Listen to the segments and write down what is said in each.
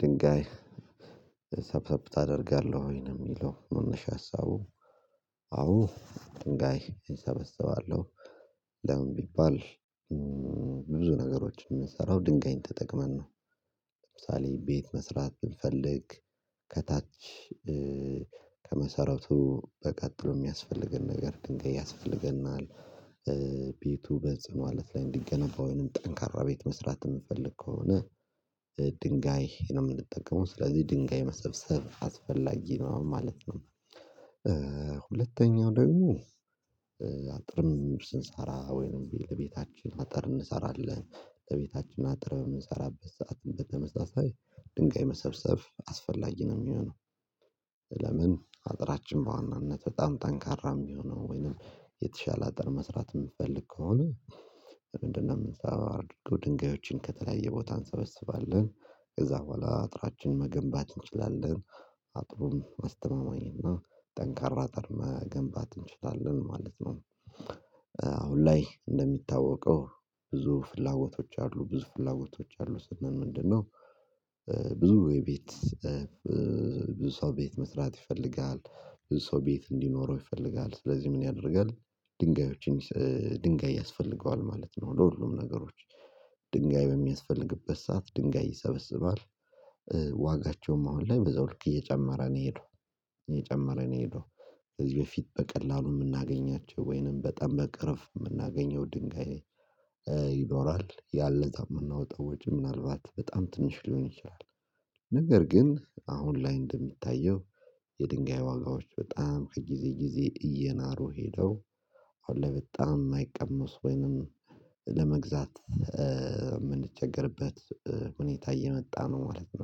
ድንጋይ እ ሰብሰብ ታደርጋለሁ ወይ ነው የሚለው መነሻ ሀሳቡ። አዎ ድንጋይ እሰበሰባለሁ። ለምን ቢባል ብዙ ነገሮችን የምንሰራው ድንጋይን ተጠቅመን ነው። ለምሳሌ ቤት መስራት ብንፈልግ ከታች እእ ከመሰረቱ በቀጥሎ የሚያስፈልገን ነገር ድንጋይ ያስፈልገናል። እእ ቤቱ በጽኑ አለት ላይ እንዲገነባ ወይንም ጠንካራ ቤት መስራት የምፈልግ ከሆነ እ ድንጋይ እኔ ነው የምንጠቀመው ስለዚህ ድንጋይ መሰብሰብ አስፈላጊ ነው ማለት ነው። እእእ ሁለተኛው ደግሞ እ አጥርምን ስንሳራ ወይንም ቢል ቤታችን አጥር እንሰራለን ለቤታችን አጥር በምንሰራበት ሰዓት በተመሳሳይ ድንጋይ መሰብሰብ አስፈላጊ ነው የሚሆነው። ለምን አጥራችን በዋናነት በጣም ጠንካራም ቢሆነው ወይንም የተሻለ አጥር መስራት የምትፈልግ ከሆነ። በምንድነው የምንሰራው ድንጋዮችን ከተለያየ ቦታ እንሰበስባለን ከዛ በኋላ አጥራችንን መገንባት እንችላለን። አጥሩም አስተማማኝ ና ጠንካራ አጥር መገንባት እንችላለን ማለት ነው። እ አሁን ላይ እንደሚታወቀው ብዙ ፍላጎቶች አሉ ብዙ ፍላጎቶች አሉ ስንል ምንድነው? ብዙ ወይ የቤት እ ፍ ብዙ ሰው ቤት መስራት ይፈልጋል። ብዙ ሰው ቤት እንዲኖረው ይፈልጋል ስለዚህ ምን ያደርጋል? ድንጋዮችን እንዲስ ድንጋይ ያስፈልገዋል ማለት ነው ለሁሉም ነገሮች። ድንጋይ በሚያስፈልግበት ሰዓት ድንጋይ ይሰበስባል እ ዋጋቸውም አሁን ላይ በዛው ልክ እየጨመረ ነው የሄደው። እየጨመረ ነው የሄደው ከዚህ በፊት በቀላሉ የምናገኛቸው ወይንም በጣም በቅርብ የምናገኘው ድንጋይ እ ይኖራል ያን ለታ የምናወጣው ወጪ ምናልባት በጣም ትንሽ ሊሆን ይችላል። ነገር ግን አሁን ላይ እንደሚታየው የድንጋይ ዋጋዎች በጣም ከጊዜ ጊዜ እየናሩ ሄደው አሁን ላይ በጣም የማይቀመስ ወይንም ለመግዛት እእ የምንቸገርበት እ ሁኔታ እየመጣ ነው ማለት ነው።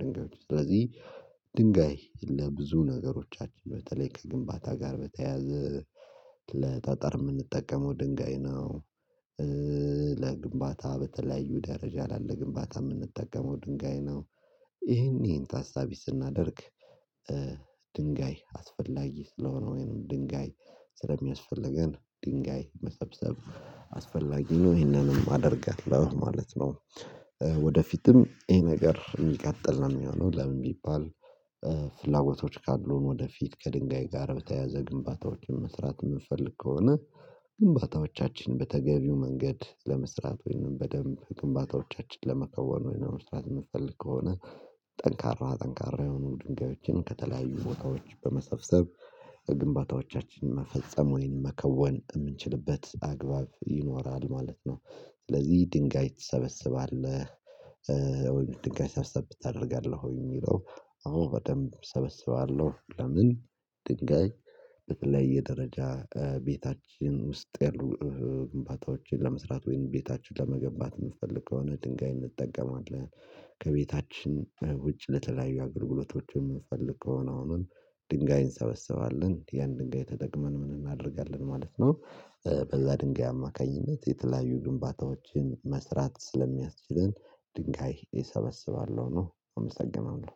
ድንጋዮች ስለዚህ ድንጋይ ለብዙ ነገሮቻችን በተለይ ከግንባታ ጋር በተያያዘ ለጠጠር የምንጠቀመው ድንጋይ ነው። ለግንባታ በተለያዩ ደረጃ ላለ ግንባታ ምንጠቀመው ድንጋይ ነው። ይሄን ይሄን ታሳቢ ስናደርግ እ ድንጋይ አስፈላጊ ስለሆነ ወይንም ድንጋይ ስለሚያስፈልገን ድንጋይ መሰብሰብ አስፈላጊ ነው ይሄንንም አደርጋለሁ ማለት ነው። እ ወደፊትም ይሄ ነገር የሚቀጥል ነው የሚሆነው ለምን ቢባል እ ፍላጎቶች ካሉን ወደፊት ከድንጋይ ጋር በተያያዘ ግንባታዎችን መስራት የምንፈልግ ከሆነ። ግንባታዎቻችን በተገቢው መንገድ ለመስራት ወይም በደንብ ግንባታዎቻችን ለመከወን ወይንም መስራት የምንፈልግ ከሆነ ጠንካራ ጠንካራ የሆኑ ድንጋዮችን ከተለያዩ ቦታዎች በመሰብሰብ ግንባታዎቻችንን መፈጸም ወይን መከወን የምንችልበት አግባብ ይኖራል ማለት ነው። ስለዚህ ድንጋይ ትሰበስባለህ። እ ወይም ድንጋይ ሰብሰብ ታደርጋለህ ወይ የሚለው? አሁን በደንብ እሰበሰባለሁ ለምን ድንጋይ በተለየ ደረጃ እ ቤታችን ውስጥ ያሉ እ ግንባታዎችን ለመስራት ወይም ቤታችን ለመገንባት የምንፈልግ ከሆነ ድንጋይ እንጠቀማለን። ከቤታችን ውጭ ለተለያዩ አገልግሎቶችን የምንፈልግ ከሆነ አሁን ድንጋይን እንሰበስባለን ያን ድንጋይ ተጠቅመን ምን እናደርጋለን ማለት ነው። በዛ ድንጋይ አማካኝነት የተለያዩ ግንባታዎችን መስራት ስለሚያስችለን ድንጋይ እሰበስባለሁ ነው አመሰግናለሁ